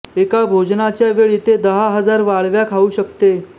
एका भोजनाच्या वेळी ते दहा हजार वाळव्या खाऊ शकते